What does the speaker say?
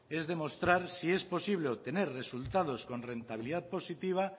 es demostrar si es posible obtener resultados con rentabilidad positiva